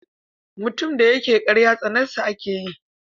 Mutum da yake ƙarya tsanar sa ake yi.